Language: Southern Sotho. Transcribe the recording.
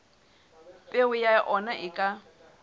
peo ya ona e ka